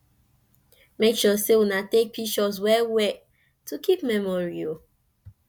mek sure say una take pishurs wel wel to kip memory o